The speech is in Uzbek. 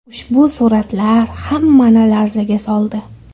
Ushbu suratlar hammani larzaga soldi.